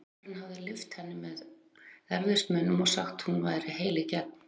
Uppboðshaldarinn hafði lyft henni með erfiðismunum og sagt að hún væri heil í gegn.